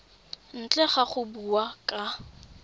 ntle ga go bua ka